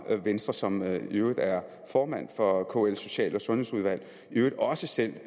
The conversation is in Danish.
venstre som i øvrigt er formand for kls social og sundhedsudvalg i øvrigt også selv